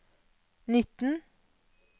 nitten